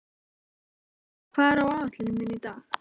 Arnleif, hvað er á áætluninni minni í dag?